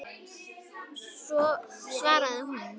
svaraði hún.